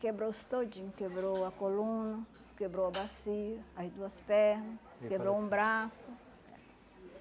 Quebrou osso todinho, quebrou a coluna, quebrou a bacia, aí duas perna, quebrou um braço.